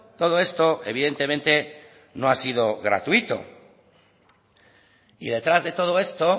todo esto evidentemente no ha sido gratuito y detrás de todo esto